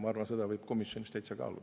Ma arvan, et seda võib komisjonis täitsa kaaluda.